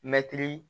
Mɛtiri